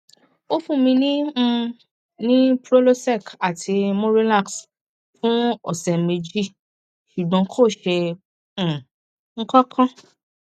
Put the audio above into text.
ó fún mi um ní prylosec àti murilax fún ọsẹ méjì ṣùgbọn kò ṣe um kankan